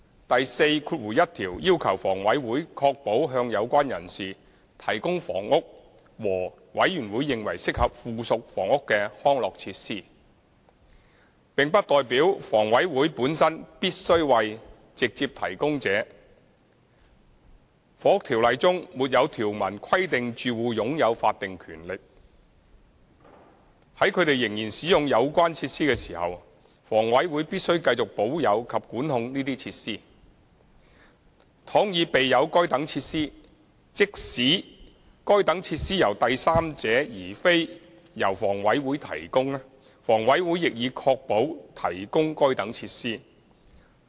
第41條要求房委會確保向有關人士提供房屋和"委員會認為適合附屬房屋的康樂設施"，並不代表房委會本身必須為直接提供者；《房屋條例》中沒有條文規定住戶擁有法定權利，在他們仍然使用有關設施時，房委會必須繼續保有及管控這些設施；倘已備有該等設施，即使該等設施由第三者而非由房委會提供，房委會亦已確保提供該等設施。